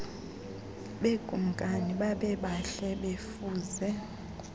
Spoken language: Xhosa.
bekumkani babebahle befuze